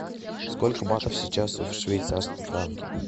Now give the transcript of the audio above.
сколько батов сейчас в швейцарском франке